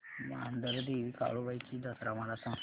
मांढरदेवी काळुबाई ची जत्रा मला सांग